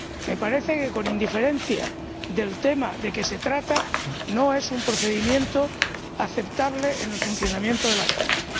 Me parece que, con independencia del tema de que se trata, no es un procedimiento aceptable en el funcionamiento de la Cámara.